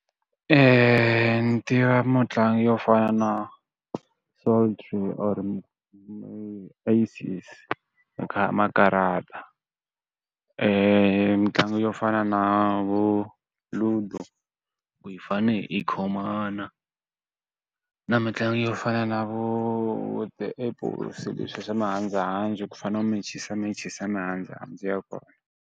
ni tiva mutlangi yo fana na solitaire or-i aces makarata. mitlangu yo fana na vo Ludo, ku yi fanele yi khomana. Na mitlangu yo fana na vo the apples leswiya swa mihandzuhandzu ku u fanele u mechisamechisa mihandzuhandzu ya kona.